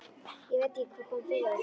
Ég veit ekki hvað kom yfir okkur.